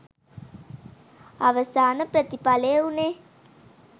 අවසාන ප්‍රතිඵලය වූණේ